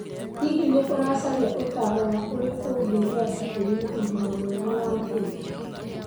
Hihi nĩ ũracaria ũtaaro wa ũrĩa ũngĩgĩa nda ĩrĩ na ũgima mwega wa mwĩrĩ?